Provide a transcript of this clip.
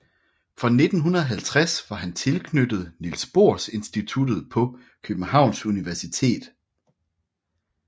Fra 1950 var han tilknyttet Niels Bohr Institutet på Københavns Universitet